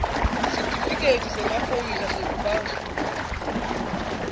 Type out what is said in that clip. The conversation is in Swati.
sitifiketi semaphoyisa sekubamsulwa